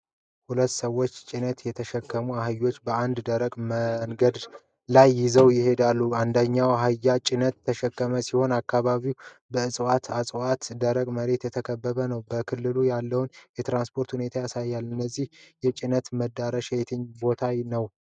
ሁለት ሰዎች ጭነት የተሸከሙ አህዮችን በአንድ ደረቅ መንገድ ላይ ይዘው ይሄዳሉ። አንደኛው አህያ ጭድ የተሸከመ ሲሆን፣ አካባቢው በጽዋር እጽዋት እና በደረቅ መሬት የተከበበ ነው። በክልሉ ያለውን የትራንስፖርት ሁኔታ ያሳያል። የዚህ ጭነት መድረሻ የትኛው ቦታ ነው?